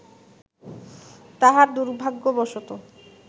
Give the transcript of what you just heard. তাহার দুর্ভাগ্যবশত